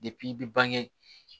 i bɛ bange